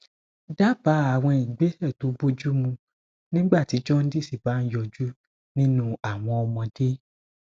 daba àwọn ìgbésẹ to boju mu nígbà tí jaundice bá ń yọjú nínú àwọn ọmọdé